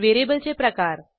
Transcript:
व्हेरिएबलचे प्रकार